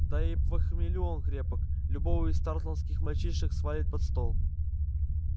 да и во хмелю он крепок любого из тарлтонских мальчишек свалит под стол